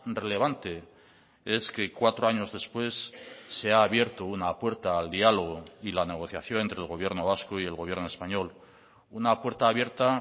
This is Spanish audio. relevante es que cuatro años después se ha abierto una puerta al diálogo y la negociación entre el gobierno vasco y el gobierno español una puerta abierta